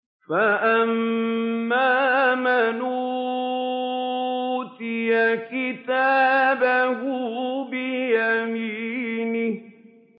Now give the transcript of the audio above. فَأَمَّا مَنْ أُوتِيَ كِتَابَهُ بِيَمِينِهِ